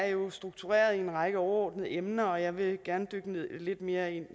jo struktureret i en række overordnede emner og jeg vil gerne dykke lidt mere